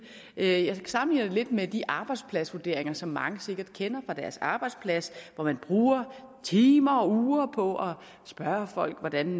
jeg sammenligner det lidt med de arbejdspladsvurderinger som mange sikkert kender fra deres arbejdsplads hvor man bruger timer og uger på at spørge folk hvordan